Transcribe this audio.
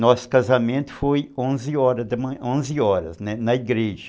Nosso casamento foi onze horas da manh, onze horas, né, na igreja.